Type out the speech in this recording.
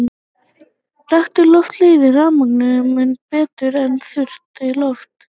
Rakt loft leiðir rafmagn mun betur en þurrt loft.